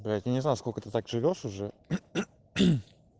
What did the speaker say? блять я не знаю сколько ты так живёшь уже